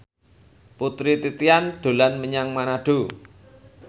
Putri Titian dolan menyang Manado